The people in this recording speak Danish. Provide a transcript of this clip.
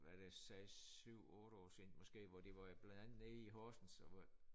Hvad er det 6 7 8 år siden måske hvor de var blandt andet nede i Horsens og hvor